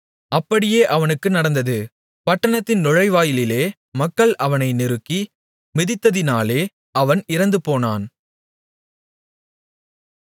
அப்படியே அவனுக்கு நடந்தது பட்டணத்தின் நுழைவாயிலிலே மக்கள் அவனை நெருக்கி மிதித்ததினாலே அவன் இறந்துபோனான்